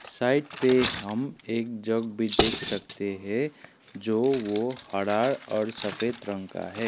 Side पे हम एक जग भी देख सकते हैं जो वो हड़ा और सफेद रंग का है।